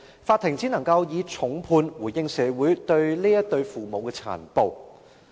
法庭只能夠以重判回應社會對這對父母殘暴行為的憤怒。